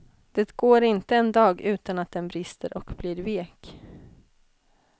Det går inte en dag utan att den brister och blir vek.